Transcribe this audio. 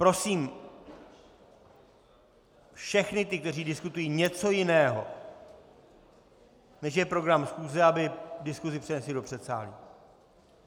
Prosím všechny ty, kteří diskutují něco jiného, než je program schůze, aby diskusi přenesli do předsálí.